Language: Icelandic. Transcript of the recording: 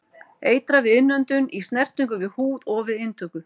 Eitrað við innöndun, í snertingu við húð og við inntöku.